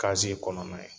kɔnɔna ye